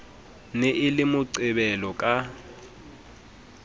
ne e le moqebelo ka